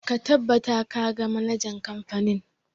Ka tabbata ka ga manajan kamfanin!